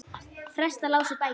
Prestar lásu bækur.